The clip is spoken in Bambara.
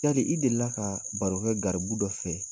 Yali i deli la ka baro kɛ garibu dɔ fɛ?